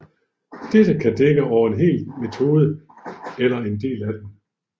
Dette kan dække over en hel metode eller en del af den